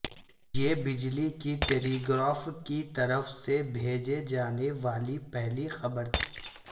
یہ بجلی کی ٹیلی گراف کی طرف سے بھیجے جانے والی پہلی خبر تھی